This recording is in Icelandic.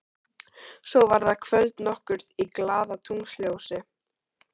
Svo var það kvöld nokkurt í glaðatunglsljósi.